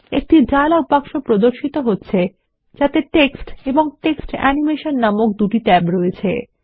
একটি dialogue box প্রদর্শিত হচ্ছে যাতে টেক্সট এবং টেক্সট অ্যানিমেশন নামক দুটি ট্যাব রয়েছে